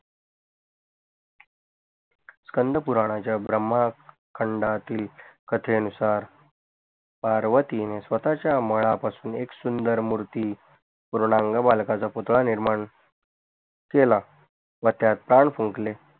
स्कंधपुरणाच्या ब्रम्हा खंडातील कथे नुसार पार्वतीने स्वतच्या मळ पासून एक सुंदर मूर्ती पूरणांग बालकाचा पुतळा निर्माण केला व त्यात प्राण फूकले